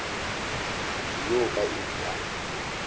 motse wo ka iri ya